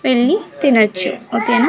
వెళ్ళి తినొచ్చు okay నా.